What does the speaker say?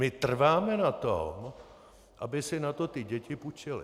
My trváme na tom, aby si na to ty děti půjčily.